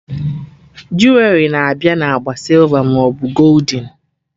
Juwerị na-abịa na agba sịlva maọbụ goldin